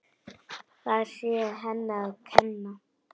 Það sé henni að kenna.